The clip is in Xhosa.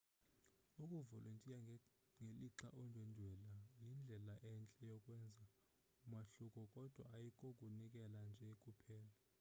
ukuvolontiya ngelixa undwendwela yindlela entle yokwenza umahluko kodwa ayikokunikela nje kuphela